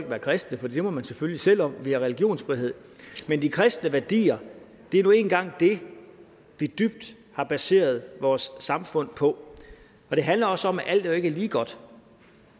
være kristne for det må man selvfølgelig selv om vi har religionsfrihed men de kristne værdier er nu engang det vi dybt har baseret vores samfund på det handler også om at alt ikke er lige godt